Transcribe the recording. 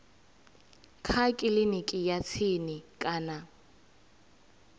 kha kiliniki ya tsini kana